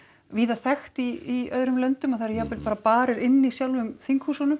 víða þekkt í öðrum löndum að það eru jafnvel bara barir inni í sjálfum